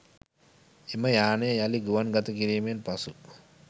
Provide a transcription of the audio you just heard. එම යානය යළි ගුවන් ගතකිරීමෙන් පසු